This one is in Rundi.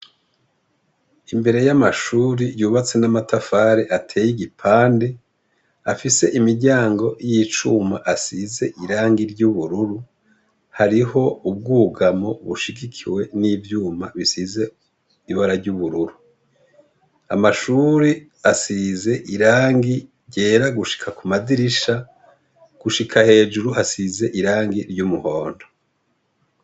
Imbere y'amashure yubatse n'amatafari ateye igipande, afise imiryango y'icuma asize irangi ry'ubururu, hariho ubwugamo bushigikiwe n'ivyuma bisize ibara ry'ubururu, amashure asize irangi ryera gushika ku madirisha ,gushika hejuru hasize ryumuhondo.